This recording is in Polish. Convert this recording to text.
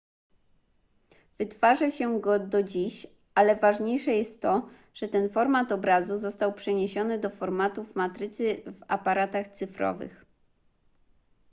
wytwarza się go do dziś ale ważniejsze jest to że ten format obrazu został przeniesiony do formatów matrycy w aparatach cyfrowych